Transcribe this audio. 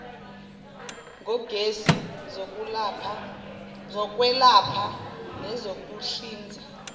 ngogesi zokwelapha nezokuhlinza